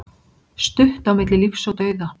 Stutt á milli lífs og dauða